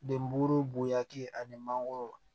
Den buru bonyaki ani mangoro